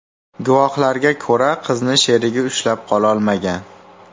Guvohlarga ko‘ra, qizni sherigi ushlab qololmagan.